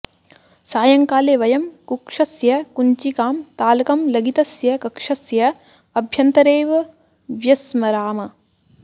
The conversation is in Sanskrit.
सायङ्काले वयं कक्षस्य कुञ्चिकां तालकं लगितस्य कक्षस्य अभ्यन्तरे एव व्यस्मराम